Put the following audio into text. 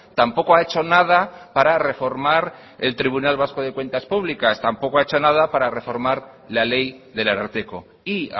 tampoco ha hecho nada para reformar el tribunal de cuentas públicas tampoco ha hecho nada para reformar la ley del ararteko y